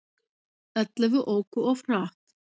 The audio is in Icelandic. Ellefu óku of hratt